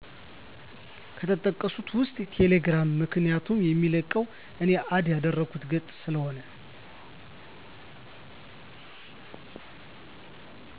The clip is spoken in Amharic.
ከተጠቀሡት ውስጥ ቴሌግራም ምክንያቱም የሚለቀቀው እኔ አድ ያደረኩት ገፅ ስለሆነ